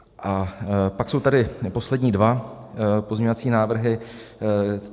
A pak jsou tady poslední dva pozměňovací návrhy.